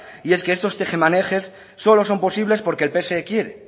y es que estos tejemanejes solo son posibles porque el pse quiere